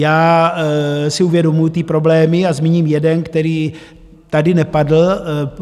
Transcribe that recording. Já si uvědomuju ty problémy a zmíním jeden, který tady nepadl.